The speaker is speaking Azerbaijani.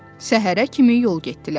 Səhərə kimi yol getdilər.